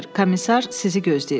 Komisar sizi gözləyir.